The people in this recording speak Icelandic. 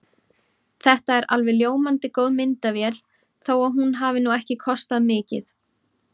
Þetta er alveg ljómandi góð myndavél þó að hún hafi nú ekki kostað mikið.